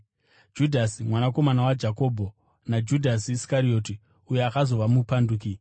Judhasi mwanakomana waJakobho, naJudhasi Iskarioti, uyo akazova mupanduki.